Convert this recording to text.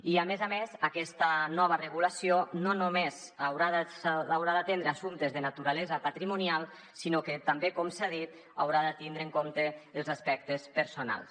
i a més a més aquesta nova regulació no només haurà d’atendre assumptes de naturalesa patrimonial sinó que també com s’ha dit haurà de tindre en compte els aspectes personals